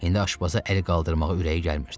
İndi aşpaza əl qaldırmağa ürəyi gəlmirdi.